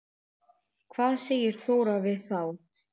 Hvað segir Þóra við þá?